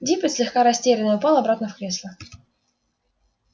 диппет слегка растерянный упал обратно в кресло